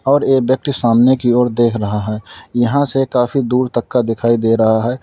और यह व्यक्ति सामने की ओर देख रहा है यहां से काफी दूर तक का दिखाई दे रहा है।